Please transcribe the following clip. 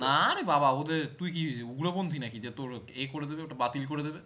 না রে বাবা ওদের তুই কি উগ্রপন্থী না কি যে তোর এ করে দেবে ওটা বাতিল করে দেবে